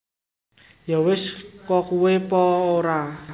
Yo wis kokuwe Po o ra